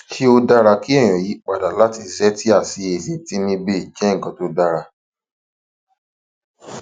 ṣé ó dára kéèyàn yí pa dà láti zetia sí ezetimibe je nkan to dara